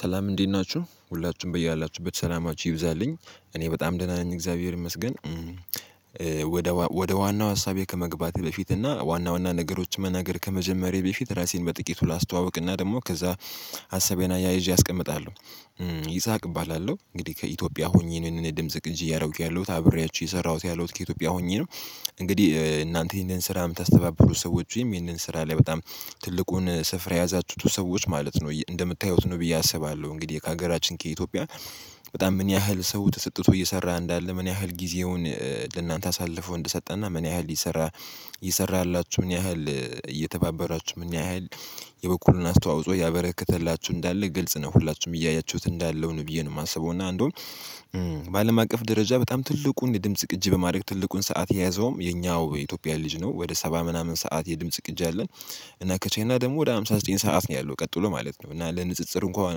ሰላም እንዴት ናችሁ ሁላችሁም በያላችሁበት ሰላማችሁ ይብዛልኝ እኔ በጣም ደህና ነኝ እግዚአብሔር ይመስገን። ወደ ዋናው ሀሳቤ ከመግባቴ በፊት እና ዋና ዋና ነገሮችን መናገር ከመጀመሬ በፊት ራሴን በጥቂቱ ላስተዋውቅና ደግሞ ከዛ ሀሳቤን አያይዤ አስቀምጣለሁ። ይስሐቅ እባላለሁ እንግዲህ ከኢትዮጵያ ሆኜ ነው ይህንን የድምጽ ቅጅ እያደረኩ ያለሁት አብሬያችሁ የሰራሁት ያለው ከኢትዮጵያ ሆኜ ነው። እንግዲህ እናንተ ይሄንን ስራ የምታስተባብሩት ሰዎች ወይም ይህንን ስራ ላይ በጣም ትልቁን ስፍራ የያዛችሁት ሰዎች ማለት ነው እንደምታዩት ነው ብዬ አስባለሁ። እንግዲህ ከሀገራችን ከኢትዮጵያ በጣም ምን ያህል ሰው ተሰጥቶ እየሰራ እንዳለ ምን ያህል ጊዜውን ለእናንተ አሳልፎ እንደሰጠና ምን ያህል ይሰራ እየሰራላችሁ ምን ያህል እየተባበሯችሁ ምን ያህል የበኩሉን አስተዋጽኦ እያበረከተላችሁ እንዳለ ግልጽ ነው ሁላችሁም እያያችሁት እንዳለው ነው ብዬ ነው የማስበው። እና እንደውም በአለም አቀፍ ደረጃ በጣም ትልቁን የድምጽ ቅጂ በማድረግ ትልቁን ሰዓት የያዘውም የኛው የኢትዮጵያ ልጅ ነው ወደ ሰባ ምናምን ሰዓት የድምጽ ቅጅ አለን። እና ከቻይና ደግሞ ወደ ሃምሳ ዘጠኝ ሰዓት ነው ያለው ቀጥሎ ማለት ነው እና ለንጽጽር እንኳን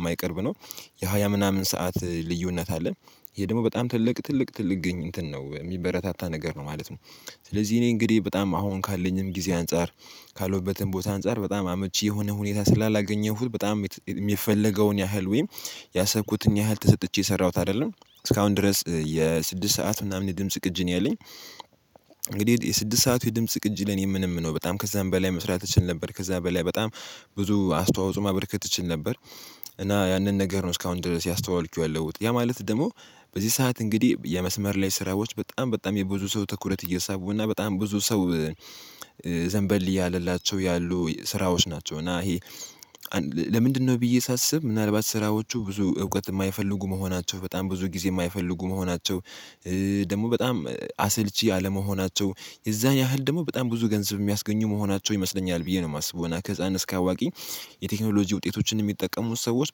የማይቀርብ ነው። ያ ምናምን ሰዓት ልዩነት አለን ይሄ ደግሞ በጣም ትልቅ ትልቅ እንትን ነው የሚበረታታ ነገር ነው ማለት ነው። ስለዚህ እኔ እንግዲህ በጣም አሁን ካለኝም ጊዜ አንፃር ካሎበትም ቦታ አንፃር በጣም አመቺ የሆነ ሁኔታ ስላላገኘሁት በጣም የሚፈለገውን ያህል ወይም ያሰብኩትን ያህል ተሰጥቼ የሰራሁት አይደለም እስካሁን ድረስ የስድስት ሰዓት ምናምን የድምጽ ቅጂ ነው ያለኝ። እንግዲህ የስድስት ሰዓት የድምጽ ቅጂ ለኔ ምንም ነው በጣም ከዛም በላይ መስራት እችል ነበር ከዛ በላይ በጣም ብዙ አስተዋጽኦ ማበርከት እችል ነበር። እና ያንን ነገር ነው እስካሁን ድረስ እያስተዋልኩኝ ያ ማለት ደግሞ በዚህ ሰዓት እንግዲህ የመስመር ላይ ስራዎች በጣም በጣም የብዙ ሰው ትኩረት እየሳቡ እና በጣም ብዙ ሰው ዘንበል እያለላቸው ያሉ ስራዎች ናቸው። እና ይሄ ለምንድነው ብዬ ሳስብ ምናልባት ስራዎቹ ብዙ እውቀት የማይፈልጉ መሆናቸው በጣም ብዙ ጊዜ የማይፈልጉ መሆናቸው። ደግሞ በጣም አሰልቺ አለመሆናቸው የዛን ያህል ደግሞ በጣም ብዙ ገንዘብ የሚያስገኙ መሆናቸው ይመስለኛል ብዬ ነው የማስበው። እና እስከ አዋቂ የቴክኖሎጂ ውጤቶችን የሚጠቀሙት ሰዎች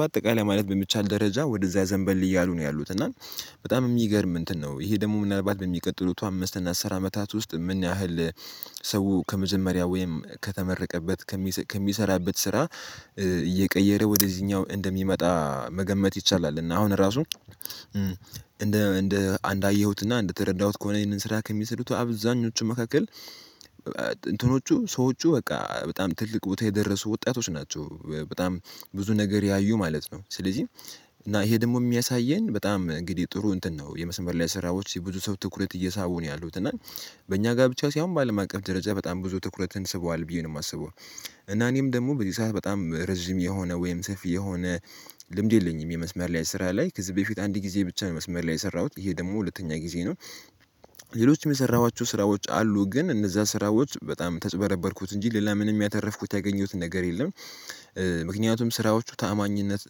በአጠቃላይ ማለት በሚቻል ደረጃ ወደዛ ዘንበል እያሉ ነው ያሉት እና በጣም የሚገርም እንትን ነው ይሄ ደግሞ ምናልባት በሚቀጥሉት አምስት እና አስር አመታት ውስጥ የምናህል ሰው ከመዘመሪያ ወይም ከተመረቀበት ከሚሰራበት ስራ እየቀየረ ወደዚህኛው እንደሚመጣ መገመት ይቻላል። እና አሁን ራሱ እንደ እንደ አንዳየሁትና እንደ ተረዳሁት ከሆነ ይሄንን ስራ ከሚሰሩት አብዛኞቹ መካከል እንትኖቹ ሰዎቹ በቃ በጣም ትልቅ ቦታ የደረሱ ወጣቶች ናቸው። በጣም ብዙ ነገር ያዩ ማለት ነው። ስለዚህ እና ይሄ ደግሞ የሚያሳየን በጣም እንግዲህ ጥሩ እንትን ነው የመስመር ላይ ስራዎች የብዙ ሰው ትኩረት እየሳቡ ነው ያሉት እና በእኛ ጋር ብቻ ሳይሆን በአለም አቀፍ ደረጃ በጣም ብዙ ትኩረትን ስበዋል ብዬ ነው የማስበው። እና እኔም ደግሞ በዚህ ሰዓት በጣም ረዥም የሆነ ወይም ሰፊ የሆነ ልምድ የለኝም የመስመር ላይ ስራ ላይ ከዚህ በፊት አንድ ጊዜ ብቻ ነው መስመር ላይ የሰራሁት ይሄ ደግሞ ሁለተኛ ጊዜ ነው። ሌሎችም የሰራኋቸው ስራዎች አሉ ግን እነዛ ስራዎች በጣም ተጭበረበርኩት እንጂ ሌላ ምንም ያተረፍኩት ያገኘሁት ነገር የለም። ምክንያቱም ስራዎቹ ታማኝነት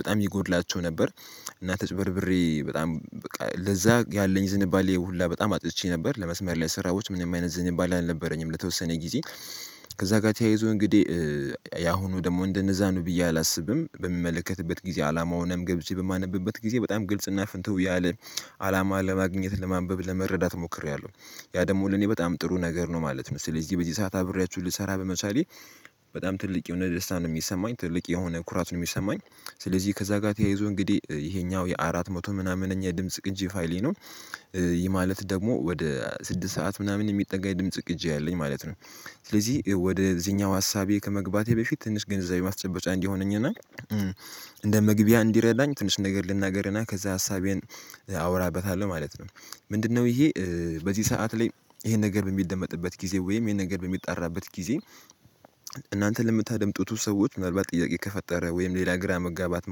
በጣም ይጎድላቸው ነበር። እና ተጭበርብሬ በጣም ለዛ ያለኝ ዝንባሌ ይሄ ሁላ በጣም አጥቼ ነበር ለመስመር ላይ ስራዎች ምንም አይነት ዝን ይባል አልነበረኝም ለተወሰነ ጊዜ ከዛ ጋር ተያይዞ እንግዲህ ያሁኑ ደግሞ እንደነዛ ነው ብዬ አላስብም በሚመለከትበት ጊዜ አላማውንም ገብቼ በማነብበት ጊዜ በጣም ግልጽ እና ፍንትህ ያለ አላማ ለማግኘት ለማንበብ ለመረዳት ሞክሬያለሁ። ያ ደግሞ ለኔ በጣም ጥሩ ነገር ነው ማለት ነው። ስለዚህ በዚህ ሰዓት አብሬያችሁ ልሰራ በመሳሌ በጣም ትልቅ የሆነ ደስታ ነው የሚሰማኝ ትልቅ የሆነ ኩራት ነው የሚሰማኝ። ስለዚህ ከዛ ጋር ተያይዞ እንግዲህ ይሄኛው የአራት መቶ ምናምን እኛ የድምጽ ቅጂ ፋይሌ ነው። ይህ ማለት ደግሞ ወደ ስድስት ሰዓት ምናምን የሚጠጋ የድምጽ ቅጂ አለኝ ማለት ነው። ስለዚህ ወደዚህኛው ሀሳቤ ከመግባቴ በፊት ትንሽ ግንዛቤ ማስጨበጫ እንዲሆነኝና እንደ ምግብያ እንዲረዳኝ ትንሽ ነገር ልናገርህና ከዛ ሀሳቤን አወራበታለሁ ማለት ነው። ምንድነው? ይሄ በዚህ ሰዓት ላይ ይሄን ነገር በሚደመጥበት ጊዜ ወይም ይሄን ነገር በሚጣራበት ጊዜ እናንተ ለምታደምጡት ሰዎች መርባት ጥያቄ ከፈጠረ ወይም ሌላ ግራ መጋባት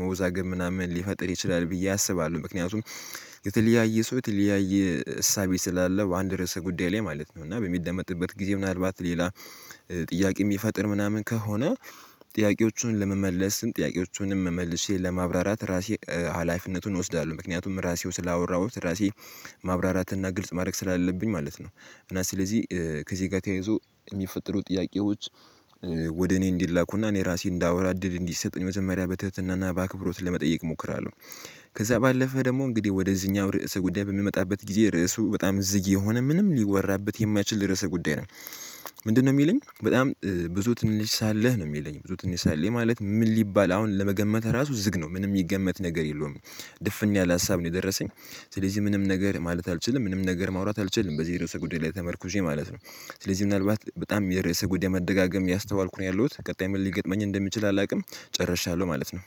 መወዛገብ ምናምን ሊፈጥር ይችላል ብዬ አስባለሁ። ምክንያቱም የተለያየ ሰው የተለያየ እሳቤ ስላለው አንድ ርዕሰ ጉዳይ ላይ ማለት ነው እና በሚደመጥበት ጊዜ ምናልባት ሌላ ጥያቄ የሚፈጥር ምናምን ከሆነ ጥያቄዎቹን ለመመለስም ጥያቄዎቹንም መመልሼ ለማብራራት ራሴ ሀላፊነቱን እወስዳለሁ። ምክንያቱም ራሴው ስላወራሁት ራሴ ማብራራት እና ግልጽ ማድረግ ስላለብኝ ማለት ነው። እና ስለዚህ ከዚህ ጋር ተያይዞ የሚፈጠሩ ጥያቄዎች ወደ እኔ እንዲላኩና እኔ ራሴ እንዳወራ እይል እንዲሰጥ ነው መዘመሪያ በትህትናና በአክብሮት ለመጠየቅ እሞክራለሁ። ከዛ ባለፈ ደግሞ እንግዲህ ወደዚህኛው ርዕሰ ጉዳይ በምመጣበት ጊዜ ርዕሱ በጣም ዝግ የሆነ ምንም ሊወራበት የማይችል ድረስ ጉዳይ ነው። ምንድነው? የሚለኝ በጣም ብዙ ትንሽ ሳለህ ነው የሚለኝ ብዙ ትንሽ ሳለኝ ማለት ምን ሊባል አሁን ለመገመት ራሱ ዝግ ነው ምንም የሚገመት ነገር የለውም። ድፍን ያለ ሀሳብ ነው የደረሰኝ። ስለዚህ ምንም ነገር ማለት አልችልም ምንም ነገር ማውራት አልችልም በዚህ የርዕሰ ጉዳይ ላይ ተመርኩሼ ማለት ነው። ስለዚህ ምናልባት በጣም የርዕሰ ጉዳይ መደጋገም ያስተዋልኩኝ ነው ያለሁት ቀጣይ ምን ሊገጥመኝ እንደምችል አላውቅም። ጨርሻለሁ ማለት ነው